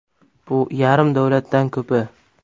Bu yarim davlatdan ko‘pi.